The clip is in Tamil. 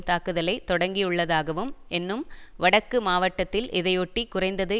தாக்குதலை தொடக்கியுள்ளதாகவும் என்னும் வடக்கு மாவட்டத்தில் இதையொட்டி குறைந்தது